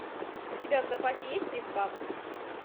у тебя в запасе есть пиф паф